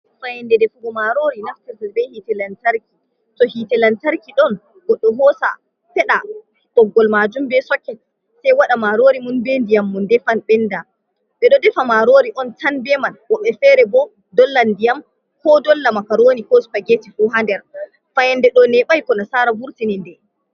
Fayande defugo marori naftirta be hite lantarki to hite lantarki ɗon goɗɗo hosa feɗa ɓoggol majum be soket sai waɗa marori mun be ndiyam mu defa ɓenda ɓe ɗo defa marori on tan beman woɓɓe fere bo dolla ndiyam ko dolla makaroni kos spageti fo hd00 fayande do nebaiku na sara vurtini.